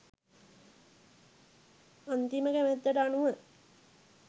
අන්තිම කැමැත්තට අනුව